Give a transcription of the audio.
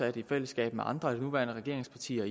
i fællesskab med andre af de nuværende regeringspartier